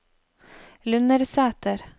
Lundersæter